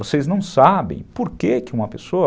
Vocês não sabem por que que uma pessoa...